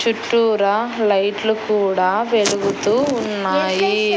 చుట్టూరా లైట్లు కూడా వెలుగుతూ ఉన్నాయి.